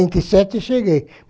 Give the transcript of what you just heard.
sete, cheguei.